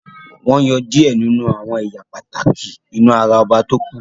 wón yọ diẹ ninu àwọn ẹyà pàtàkì inú àrà oba to ku.